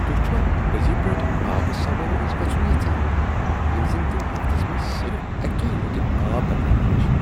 تُہۍ چھِوا پٔزی پٲٹھۍ آبہٕ سوٲرۍ منٛز گژھُن یژھان ییٚلہِ زن تِم ہفتس منٛز صرف اکی لٹہِ آب بدلاوان چھِ؟